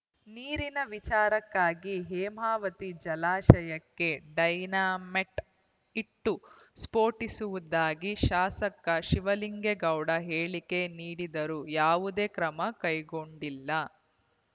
ನೀರಿನ ವಿಚಾರಕ್ಕಾಗಿ ಹೇಮಾವತಿ ಜಲಾಶಯಕ್ಕೆ ಡೈನಮೈಟ್‌ ಇಟ್ಟು ಸ್ಫೋಟಿಸುವುದಾಗಿ ಶಾಸಕ ಶಿವಲಿಂಗೇಗೌಡ ಹೇಳಿಕೆ ನೀಡಿದರೂ ಯಾವುದೇ ಕ್ರಮ ಕೈಗೊಂಡಿಲ್ಲ